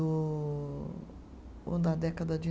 Ou na década de